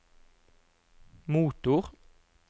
motor